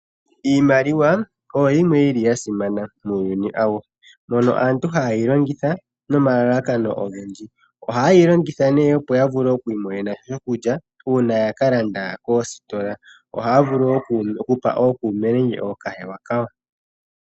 Iimaliwa oyo yimwe yili yasimana muuyuni awuhe mono aantu haye yilongitha nomalalakano ogendji, ohaye yilongitha nee opo yamvule okwiimonena shikulya uuna yakalanda koositola. Ohaya vulu wo okupa ookuume nenge okokahewa kayo.